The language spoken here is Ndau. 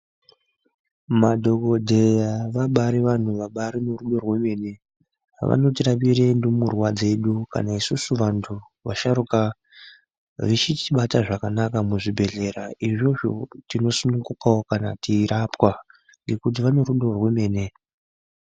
Madhokodheya vabari vantu vane rudo rwemene vanotirapira ndumurwa dzedu kana isusu vantu vasharukwa vechiti Bata zvakanaka muzvibhedhlera izvozvo tinosunungukawo kana teirapwa ngekuti vane rudo rwemene.